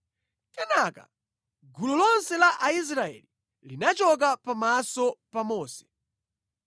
Kenaka gulu lonse la Aisraeli linachoka pamaso pa Mose,